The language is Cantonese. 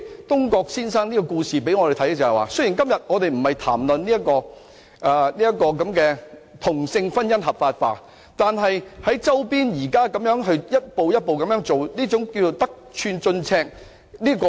東郭先生的故事告訴我們，雖然我們今天不是談論同性婚姻合法化，但周邊現時一步一步在進行，這是得寸進尺。